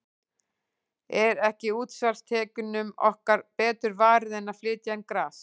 Er ekki útsvarstekjunum okkar betur varið en að flytja inn gras?